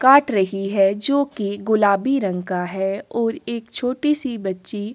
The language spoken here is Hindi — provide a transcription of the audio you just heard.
काट रही है जो की गुलाबी रंग का है और एक छोटी सी बच्ची--